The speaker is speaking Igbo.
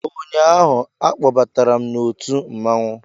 Ụnyaahụ, a kpọbatara m n'otu mmanwụ